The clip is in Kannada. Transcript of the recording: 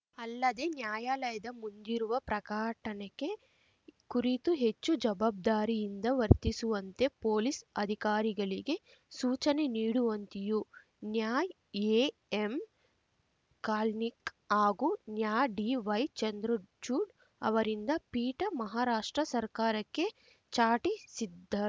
ಅಲ್ಲದೆ ನ್ಯಾಯಾಲಯದ ಮುಂದಿರುವ ಪ್ರಕಾಟಣೆಕೆ ಕುರಿತು ಹೆಚ್ಚು ಜವಾಬ್ದಾರಿಯಿಂದ ವರ್ತಿಸುವಂತೆ ಪೊಲೀಸ್‌ ಅಧಿಕಾರಿಗಳಿಗೆ ಸೂಚನೆ ನೀಡುವಂತೆಯೂ ನ್ಯಾಎಎಂ ಖಾಲ್ನಿಕ್ ಹಾಗೂ ನ್ಯಾ ಡಿವೈ ಚಂದ್ರಚೂಡ್‌ ಅವರಿಂದ್ದ ಪೀಠ ಮಹಾರಾಷ್ಟ್ರ ಸರ್ಕಾರಕ್ಕೆ ಚಾಟಿ ಸಿದ್ದ